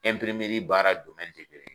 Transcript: baara kelen.